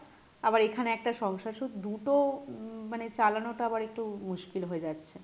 আবার এখানে একটা সংসার so দুটো উম মানে চালানো টা আবার একটু মুশকিল হয়ে যাচ্ছে।